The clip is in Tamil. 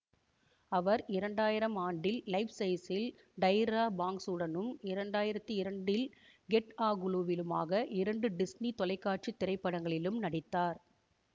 அவர் இரண்டு ஆயிரம் ஆண்டில் லைஃப்சைஸில் டைரா பாங்க்ஸுடனும் இரண்டு ஆயிரத்தி இரண்டில் கெட் அ குளூ விலுமாக இரண்டு டிஸ்னி தொலைக்காட்சி திரைப்படங்களிலும் நடித்தார்